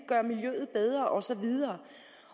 gøre miljøet bedre og så videre